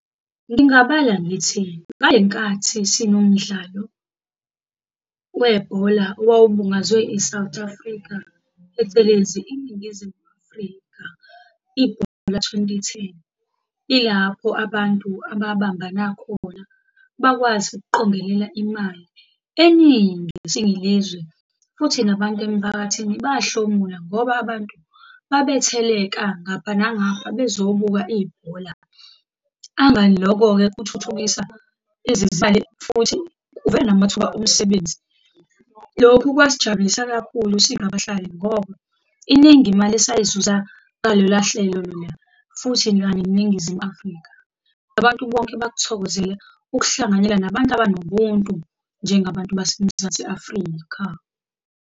Ngingabala ngithi, ngale nkathi sinomdlalo webhola owawubungazwe i-South Africa, phecelezi iNingizimu Afrika, ibhola lika-twenty ten. Ilapho abantu ababambana khona bakwazi ukuqongelela imali eningi siyilizwe, futhi nabantu emphakathini bahlomula ngoba abantu babetheleka ngapha nangapha bezobuka ibhola. Angani lokho-ke kuthuthukisa futhi kuvela namathuba omsebenzi. Lokhu kwasijabulisa kakhulu singabahlali, ngoba iningi imali esayizuza ngalolahlelo lola, futhi neNingizimu Afrika. Abantu bonke bakuthokozele ukuhlanganyela nabantu abanobuntu njengabantu baseMzansi Afrika.